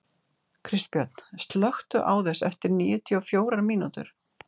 Kristbjörn, slökktu á þessu eftir níutíu og fjórar mínútur.